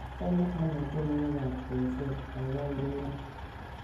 achome anee tienwogik ab bensoul gaigai ureren